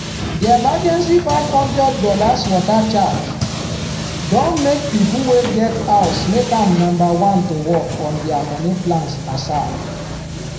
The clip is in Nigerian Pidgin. di emergency five hundred dollars water charge don make people wey get house make am number one to work on dia money plans asap